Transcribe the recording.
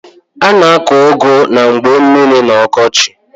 A na-akọ ụgụ na mgba mmiri n'ọkọchị.